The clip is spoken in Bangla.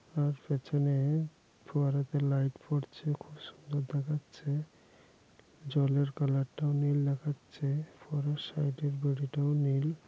তার পেছনে ফোয়ারা তে লাইট পড়ছে খুব সুন্দর দেখাচ্ছে জলের কালার -টাও নীল দেখাচ্ছে ফোয়ারার সাইড -এ বেড়ি টাও নীল।